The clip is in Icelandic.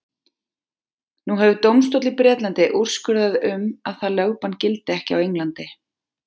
Nú hefur dómstóll í Bretlandi úrskurðað um að það lögbann gildi ekki á Englandi.